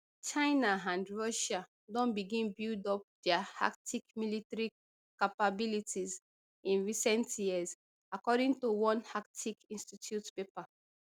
china and russia don begin build up dia arctic military capabilities in recent years according to one arctic institute paper